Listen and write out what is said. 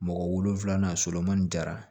Mɔgɔ wolonfila solomani jara